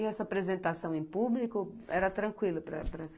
E essa apresentação em público era tranquila para para